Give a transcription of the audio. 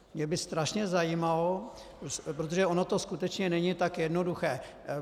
Mě by strašně zajímalo, protože ono to skutečně není tak jednoduché...